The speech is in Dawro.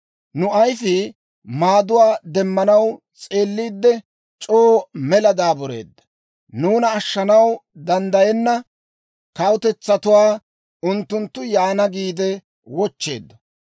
Nu ayifii maaduwaa demmanaw s'eelliidde, c'oo mela daabureedda. Nuuna ashshanaw danddayenna kawutetsatuwaa, unttunttu yaana giide wochcheeddo.